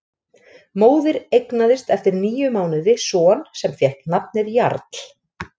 Móðir eignaðist eftir níu mánuði son sem fékk nafnið Jarl.